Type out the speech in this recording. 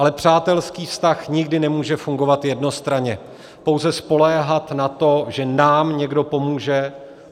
Ale přátelský vztah nikdy nemůže fungovat jednostranně, pouze spoléhat na to, že nám někdo pomůže.